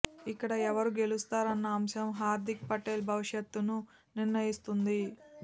ఇక్కడ ఎవరు గెలుస్తారన్న అంశం హార్దిక్ పటేల్ భవిష్యత్ను నిర్ణయిస్తుంది